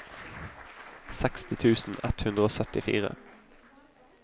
seksti tusen ett hundre og syttifire